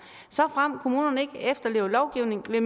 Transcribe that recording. såfremt kommunerne ikke efterlever lovgivningen vil